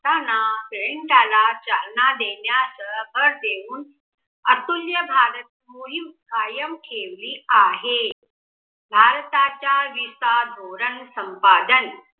प्रायटला चालना देण्याच भर देऊन अतुल्य भारत मोहीम कायम ठेवली आहे. भारताच्या विसा धोरण संपादन